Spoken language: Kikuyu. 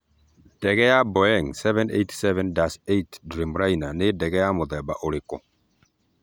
Ndege ya Boeing 787-8 Dreamliner nĩ ndege ya mũthemba ũrĩkũ?